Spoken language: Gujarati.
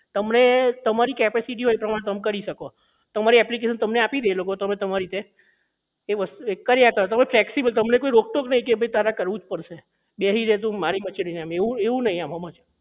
તમને તમારી capacity હોય એ પ્રમાણે કામ કરી શકો તમારી application તમને આપી દે તમારે તમારી રીતે એક વસ્તુ કર્યા કરો તમે ફ્લેક્સિબલ તમને કોઈ રોકટોક નહીં કરે કે ભાઈ તારે કરવું જ પડશે બેહી રે તુ મારીમચેડી એવું એવું નહીં આમાં એમ